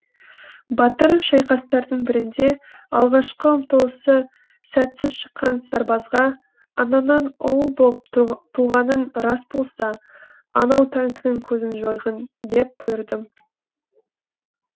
батыр шайқастардың бірінде алғашқы ұмтылысы сәтсіз шыққан сарбазға анаңнан ұл боп туғаның рас болса анау танкінің көзін жойғын деп бұйырдым